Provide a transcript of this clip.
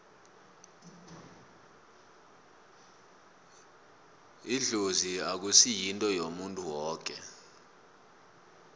idlozi akusi yinto yomuntu woke